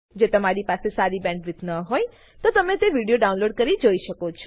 જો તમારી પાસે સારી બેન્ડવિડ્થ ન હોય તો તમે વિડીયો ડાઉનલોડ કરીને જોઈ શકો છો